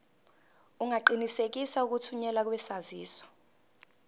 ungaqinisekisa ukuthunyelwa kwesaziso